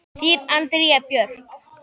Þín Andrea Björk.